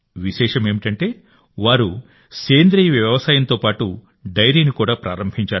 విశేషమేమిటంటే వారు organic farming ను డైరీని కూడా ప్రారంభించారు